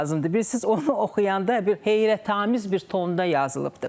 Bilirsiz, onu oxuyanda bir heyrətamiz bir tonda yazılıbdır.